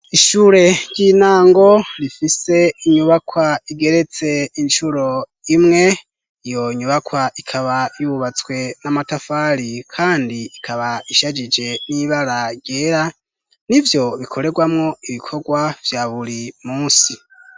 Ishure ryintango rifise inyubakwa igeretse incuro imwe, iyo nyubakwa ikaba yubatswe namatafari kandi ikaba ishajije nibara ryera nivyo bikorerwamo ibikorwa vya buri munsi.